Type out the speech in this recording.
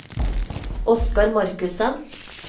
Oskar Markussen